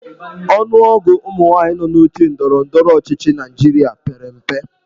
Ọnụọgụ ụmụnwaanyị nọ n'oche ndọrọ ndọrọ ọchịchị Naịjirịa pere mpe.